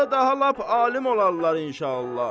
Onda daha lap alim olarlar inşallah.